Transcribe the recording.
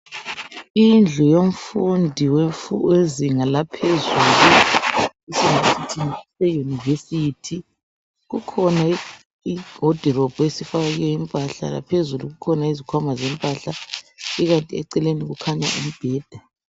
Indlu yomfundi wezinga laphezulu eyunivesithi kukhona iwodirobhu esifakwe impahla laphezulu kukhona izikhwama zempahla ikanti eceleni kukhanya umbheda.